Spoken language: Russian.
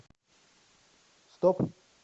стоп